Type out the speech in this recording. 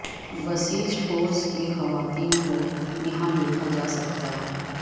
Basij force کی خواتین کو یہاں دیکھا جا سکتا ہے